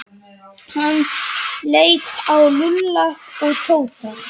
Hann leit á Lúlla og Tóta.